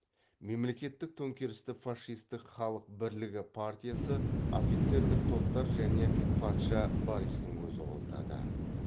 мемлекеттік төңкерісті фашистік халық бірлігі партиясы офицерлік топтар және патша бористің өзі қолдады